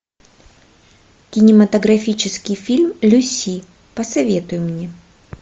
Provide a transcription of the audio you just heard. кинематографический фильм люси посоветуй мне